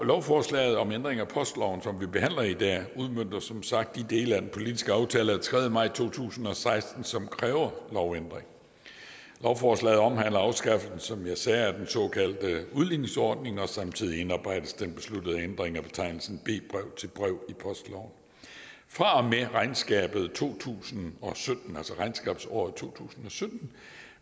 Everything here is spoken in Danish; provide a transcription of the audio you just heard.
lovforslaget om ændring af postloven som vi behandler i dag udmønter som sagt de dele af den politiske aftale af tredje maj to tusind og seksten som kræver lovændring lovforslaget omhandler afskaffelse som jeg sagde af den såkaldte udligningsordning og samtidig indarbejdes den besluttede ændring af betegnelsen b brev til brev i postloven fra og med regnskabet to tusind og sytten altså regnskabsåret to tusind og sytten